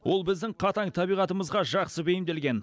ол біздің қатаң табиғатымызға жақсы бейімделген